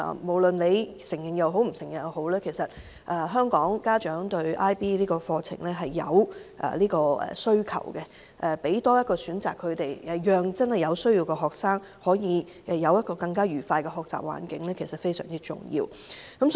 無論大家承認與否，香港家長對 IB 課程有需求，給予他們多一個選擇，讓有需要的學生有更愉快的學習環境實在非常重要。